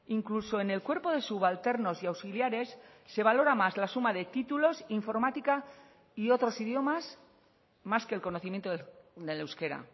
incluso en el cuerpo de subalternos y auxiliares se valora más la suma de títulos informática y otros idiomas más que el conocimiento del euskera